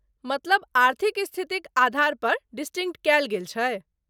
मतलब आर्थिक स्थिति क आधारपर डिसटिंक्ट कयल जाइ छै?